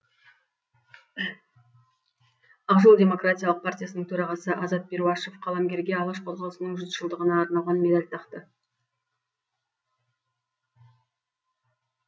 ақжол демократиялық партиясының төрағасы азат перуашев қаламгерге алаш қозғалысының жүз жылдығына арналған медаль тақты